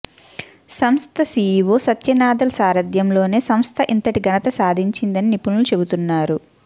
సంస్థ సీఈవో సత్య నాదెళ్ల సారథ్యంలోనే సంస్థ ఇంతటి ఘనత సాధించిందని నిపుణులు చెబుతున్నారు